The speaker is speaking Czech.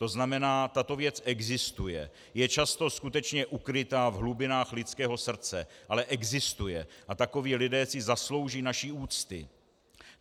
To znamená, tato věc existuje, je často skutečně ukryta v hlubinách lidského srdce, ale existuje, a takoví lidé si zaslouží naši úctu.